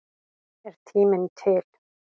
Er tíminn til?